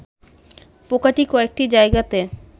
পোকাটি কয়েকটি জায়গাতে